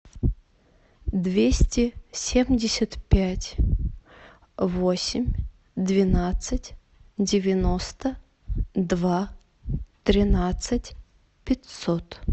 двести семьдесят пять восемь двенадцать девяносто два тринадцать пятьсот